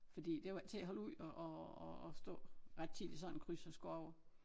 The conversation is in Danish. Fordi det var ikke til at holde ud at at at stå ret tid i sådan en kryds og skulle over